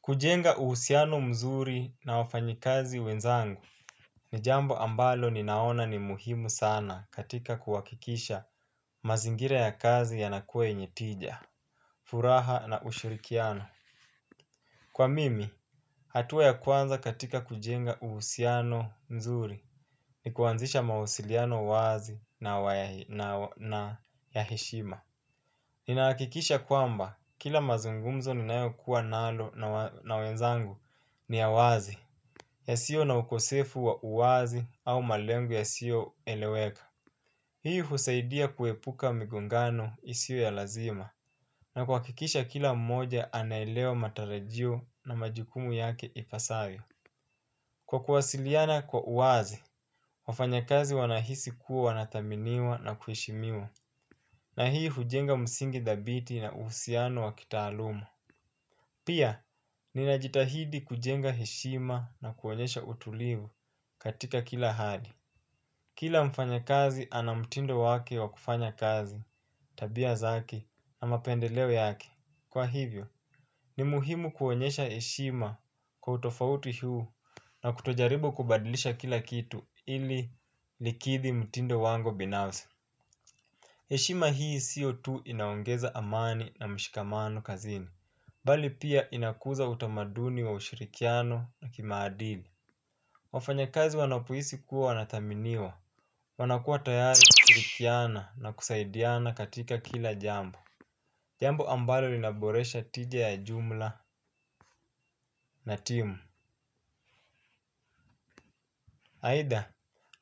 Kujenga uhusiano mzuri na wafanyi kazi wenzangu. Ni jambo ambalo ninaona ni muhimu sana katika kuhakikisha mazingira ya kazi yanakue yenye tija. Furaha na ushurikiano, kwa mimi, hatuwa ya kwanza katika kujenga uhusiano mzuri. Nikuanzisha mawasiliano wazi na ya hishima. Ninahakikisha kwamba kila mazungumzo ninayokuwa nalo na wenzangu ni ya wazi, ya sio na ukosefu wa uwazi au malengu yasio eleweka. Hii husaidia kuepuka migongano isio ya lazima, na kuhakikisha kila mmoja anaelewa matarajio na majukumu yake ipasavyo. Kwa kuwasiliana kwa uwazi, wafanyakazi wanahisi kuwa wanathaminiwa na kuheshimiwa. Na hii hujenga msingi dhabiti na uhusiano wa kitaalumu. Pia, ninajitahidi kujenga heshima na kuonyesha utulivu katika kila hali. Kila mfanya kazi ana mtindo wake wa kufanya kazi, tabia zake, na mapendelewe yake. Kwa hivyo, ni muhimu kuonyesha heshima kwa utofauti huu na kutojaribo kubadilisha kila kitu ili likidhi mtindo wango binafsi. Heshima hii sio tu, inaongeza amani na mshikamano kazini. Mbali pia inakuza utamaduni wa ushirikiano na kimaadili wafanyakazi wanapohisi kuwa wanataminiwa. Wanakua tayari kushirikiana na kusaidiana katika kila jambo. Jambo ambalo linaboresha tija ya jumla na timu. Haida,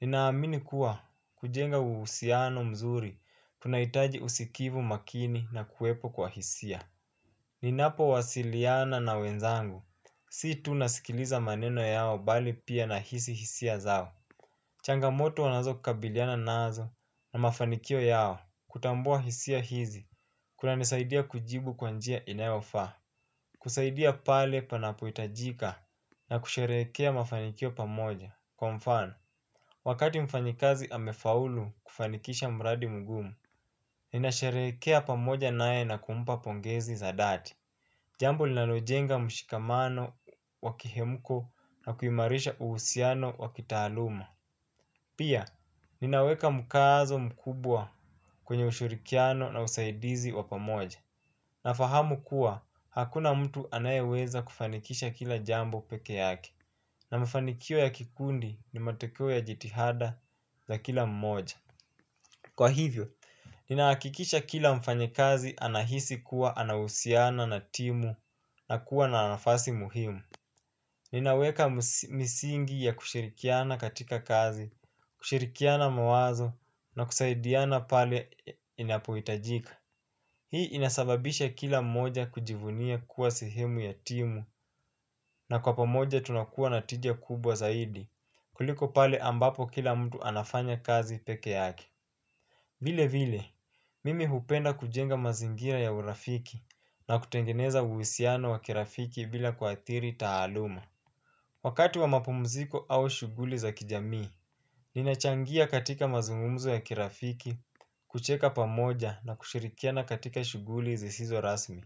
ninaamini kuwa kujenga uhusiano mzuri, tunahitaji usikivu makini na kuwepo kwa hisia. Ninapo wasiliana na wenzangu, si tu nasikiliza maneno yao bali pia nahisi hisia zao. Changamoto wanazo kabiliana nazo na mafanikio yao, kutambua hisia hizi, kunanisaidia kujibu kwa njia inayofa. Kusaidia pale panapohitajika na kusherekea mafanikio pamoja, kwa mfano. Wakati mfanyikazi amefaulu, kufanikisha mradi mgumu. Ninasherehekea pamoja naye na kumpa pongezi za dhati. Jambo linalojenga mshikamano wakihemuko na kuimarisha uhusiano wa kitaaluma. Pia, ninaweka mkazo mkubwa kwenye ushurikiano na usaidizi wa pamoja. Na fahamu kuwa, hakuna mtu anayeweza kufanikisha kila jambo peke yake. Na mfanikio ya kikundi ni matekio ya jitihada za kila mmoja. Kwa hivyo, ninahakikisha kila mfanyikazi anahisi kuwa anahusiana na timu na kuwa na nafasi muhimu. Ninaweka misingi ya kushirikiana katika kazi, kushirikiana mawazo na kusaidiana pale inapohitajika. Hii inasababisha kila moja kujivunia kuwa sehemu ya timu. Na kwa pamoja tunakua na tija kubwa zaidi. Kuliko pale ambapo kila mtu anafanya kazi peke yake. Vile vile, mimi hupenda kujenga mazingira ya urafiki na kutengeneza uhusiano wa kirafiki bila kuathiri taaluma. Wakati wa mapomziko au shuguli za kijamii, ninachangia katika mazungumzo ya kirafiki, kucheka pamoja na kushirikiana katika shughuli zisizo rasmi.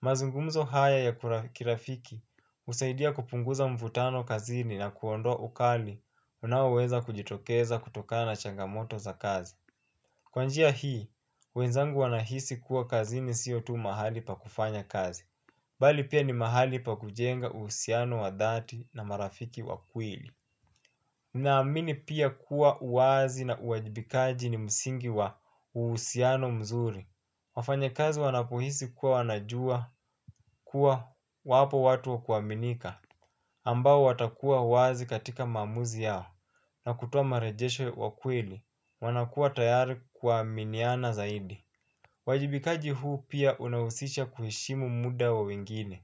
Mazungumzo haya ya kirafiki husaidia kupunguza mvutano kazini na kuondwa ukali unaoweza kujitokeza kutoka na changamoto za kazi. Kwa njia hii, wenzangu wanahisi kuwa kazini siyo tu mahali pa kufanya kazi. Bali pia ni mahali pa kujenga uhusiano wa dhati na marafiki wa kweli. Naamini pia kuwa uwazi na uwajibikaji ni msingi wa uhusiano mzuri. Wafanya kazi wanapohisi kuwa wanajua kuwa wapo watu wakuaminika. Ambao watakuwa wazi katika maamuzi yao, na kutowa marejesho wa kweli wanakua tayari kuaminiana zaidi. Wajibikaji huu pia unahusisha kuheshimu muda wa wengine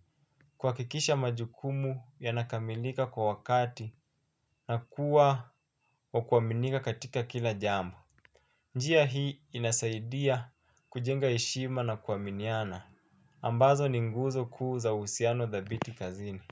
kuhakikisha majukumu yanakamilika kwa wakati na kuwa wakuaminika katika kila jambo. Njia hii inasaidia kujenga heshima na kuaminiana ambazo ni nguzo kuu za uhusiano thabiti kazini.